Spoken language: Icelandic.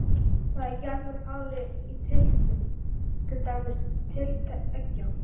Þá er gjarnan talið í tylftum, til dæmis tylft eggja.